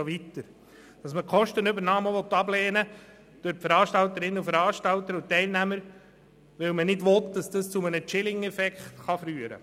Man lehne die Kostenübernahme durch die Veranstalterinnen und Veranstalter und durch die Teilnehmer ab, weil man nicht wolle, dass dies zu einem «chilling effect» führe.